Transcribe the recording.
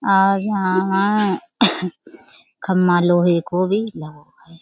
आज यहाँ आ खम्भा लोहे को भी लगो है।